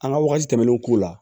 An ka wagati tɛmɛnenw k'u la